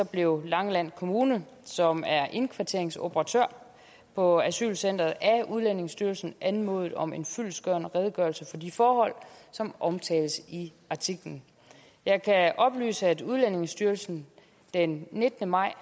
blev langeland kommune som er indkvarteringsoperatør på asylcenteret af udlændingestyrelsen anmodet om en fyldestgørende redegørelse for de forhold som omtales i artiklen jeg kan oplyse at udlændingestyrelsen den nittende maj